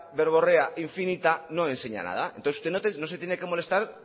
verborrea infinita no enseña nada entonces usted no se tiene que molestar